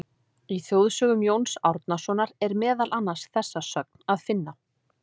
Í Þjóðsögum Jóns Árnasonar er meðal annars þessa sögn að finna: